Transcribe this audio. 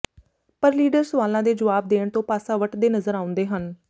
ਪਰ ਲੀਡਰ ਸਵਾਲਾਂ ਦੇ ਜਵਾਬ ਦੇਣ ਤੋਂ ਪਾਸਾ ਵਟਦੇ ਨਜ਼ਰ ਆਉਂਦੇ ਹਨ